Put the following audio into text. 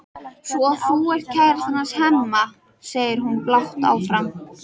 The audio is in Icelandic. Svo þú ert kærastan hans Hemma, segir hún blátt áfram.